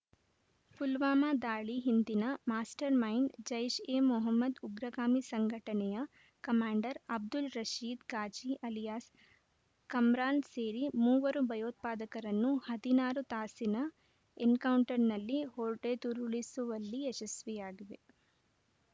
ಪುಲ್ವಾಮಾ ದಾಳಿ ಹಿಂದಿನ mastermind Jaish e Mohammed ಉಗ್ರಗಾಮಿ ಸಂಘಟನೆಯ ಕಮಾಂಡರ್‌ ಅಬ್ದುಲ್‌ ರಶೀದ್‌ ಗಾಜಿ ಅಲಿಯಾಸ್‌ ಕಮ್ರಾನ್‌ ಸೇರಿ ಮೂವರು ಭಯೋತ್ಪಾದಕರನ್ನು ಹದಿನಾರು ತಾಸಿನ ಎನ್‌ಕೌಂಟರ್‌ನಲ್ಲಿ ಹೊಡೆದುರುಳಿಸುವಲ್ಲಿ ಯಶಸ್ವಿಯಾಗಿವೆ